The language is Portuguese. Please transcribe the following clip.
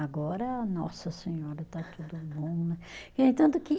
Agora, nossa senhora, está tudo bom, né, e é tanto que